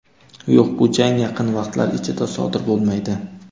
Yo‘q, bu jang yaqin vaqtlar ichida sodir bo‘lmaydi.